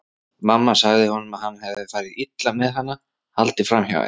Mamma sagði honum að hann hefði farið illa með hana, haldið fram hjá henni.